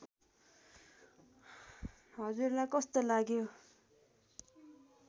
हजुरलाई कस्तो लाग्यो